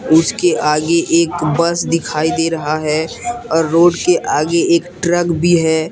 उसके आगे एक बस दिखाई दे रहा है और रोड के आगे एक ट्रक भी है।